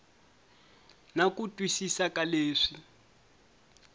na ku twisisa ka leswi